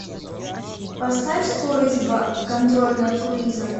поставь скорость два контроль над круизом